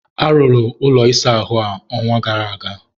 arụrụ ụlọ ịsa ahụ a, ọnwa gara aga.